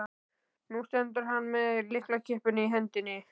Nú stendur hann með lyklakippuna í hendinni.